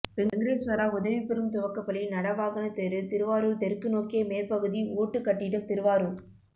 வெங்கடேஸ்வரா உதவிபெறும் துவக்கப்பள்ளி நடவாகன தெரு திருவாரூர் தெற்குநோக்கிய மேற்குபகுதி ஓட்டுக்கட்டிடம் திருவாரூர்